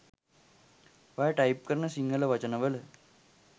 ඔයා ටයිප් කරන සිංහල වචන වල